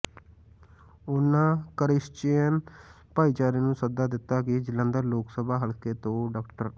ਉਨਾਂ ਕਰਿਸ਼ਚਿਅਨ ਭਾਈਚਾਰੇ ਨੂੰ ਸੱਦਾ ਦਿੱਤਾ ਕਿ ਜਲੰਧਰ ਲੋਕ ਸਭਾ ਹਲਕੇ ਤੋਂ ਡਾ